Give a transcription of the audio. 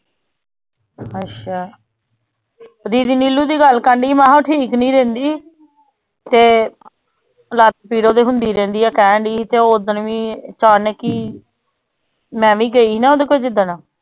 ਅੱਛਾ ਦੀਦੀ ਨੀਲੂ ਦੀ ਗੱਲ ਕਰਦੀ ਸੀ ਮੈਂ ਕਿਹਾ ਠੀਕ ਨੀ ਰਹਿੰਦੀ ਤੇ ਲੱਤ ਪੀੜ ਉਹਦੇ ਹੁੰਦੀ ਰਹਿੰਦੀ ਹੈ ਕਹਿਣਡੀ ਸੀ ਤੇ ਉਹ ਓਦਣ ਵੀ ਅਚਾਨਕ ਹੀ ਮੈਂ ਵੀ ਗਈ ਸੀ ਨਾ ਉਦੋਂ ਫਿਰ ਜਿੱਦਣ